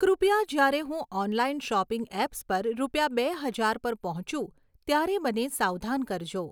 કૃપયા જ્યારે હું ઑનલાઈન શૉપિંગ એપ્સ પર રૂપિયા બે હજાર પર પહોંચું ત્યારે મને સાવધાન કરજો